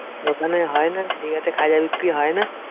ওখানে হয়না? দীঘাতে খাজা বিক্রি হয়না?